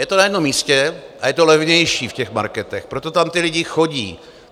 Je to na jednom místě a je to levnější v těch marketech, proto tam ti lidé chodí.